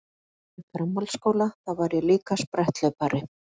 Þegar ég var í framhaldsskóla þá var ég líka spretthlaupari.